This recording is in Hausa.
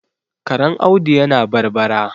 Karen Audu yana barbara